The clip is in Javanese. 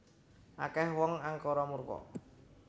Akeh wong angkara murka